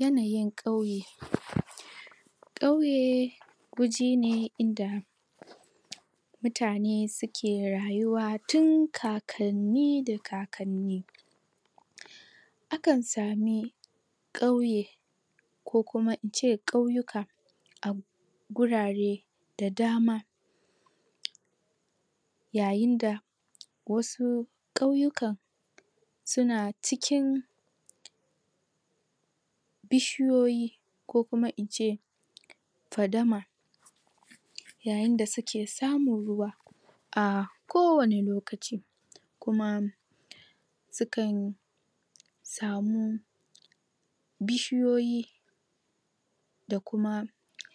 yanayin kauye kauye waje ne inda mutane su ke rayuwa tin kakanni da kakkani akan sami kauye ko kuma in ce kauyuka gurare da dama yayin da wasu kauyukan su na cikin bishiyoyi ko kuma in ce fadama yayin da su kesamun ruwa a kowane lokaci kuma sukan samu bishiyoyi da kuma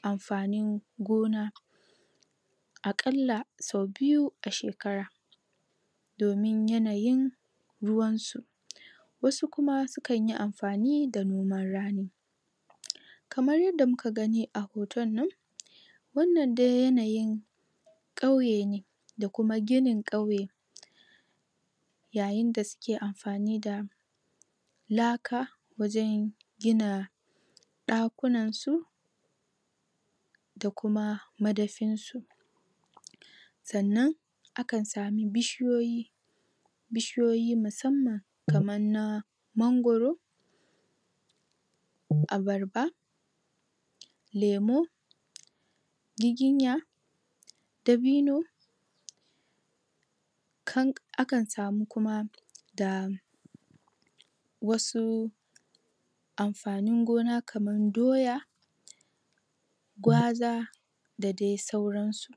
amfanin gona akalla so biyu a shekara domin yanayin ruwan su wasu kuma su kan amfani da noman rani kamar yadda muka gani a hoton nan wannan dai yanayin kauye ne da kuma ginin kauye yayin da su ke amfani da laka wajen gina dakunan su da kuma madafin su sannan akan sami bishiyoyi bishiyoyi musamman kaman na mangoro abarba lemu giginya dabino akan samu kuma da wasu amfanin gona kamar doya gwaza da dai sauran su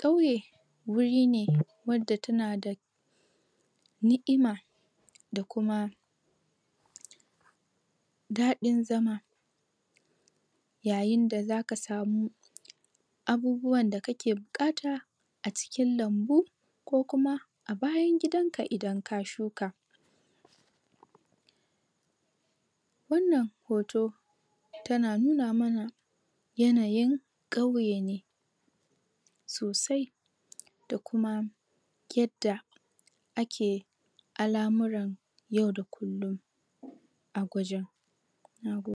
kauye wuri ne wadda ta na da ni'ima da kuma dadin zama yayin da za ka samu abubuwan da kake bukata a cikin lambu ko kuma bayan gidan ka idan ka shuka wannan hoto ta na nuna mana yanayin kauye ne sosai da kuma yadda ake alamuran a wajen nagode